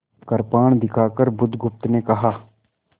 कृपाण दिखाकर बुधगुप्त ने कहा